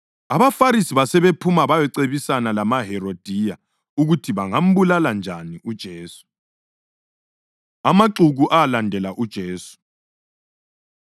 AbaFarisi basebephuma bayacebisana lamaHerodiya ukuthi bangambulala njani uJesu. Amaxuku Alandela UJesu